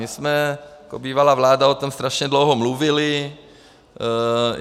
My jsme jako bývalá vláda o tom strašně dlouho mluvili.